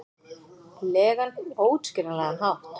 legan, óútskýranlegan hátt.